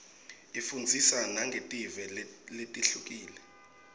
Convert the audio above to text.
ifundzisa nangetive letihlukile